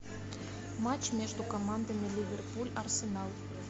матч между командами ливерпуль арсенал